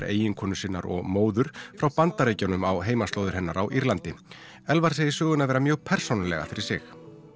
eiginkonu sinnar og móður frá Bandaríkjunum á heimaslóðir hennar á Írlandi Elfar segir söguna vera mjög persónulega fyrir sig